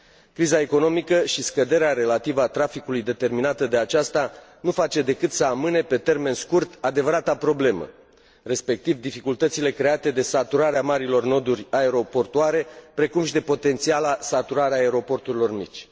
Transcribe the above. Criza economică și scăderea relativă a traficului determinată de aceasta nu face decât să amâne, pe termen scurt, adevărata problemă, respectiv dificultățile create de saturarea marilor noduri aeroportuare, precum și de potențiala saturare a aeroporturilor mici.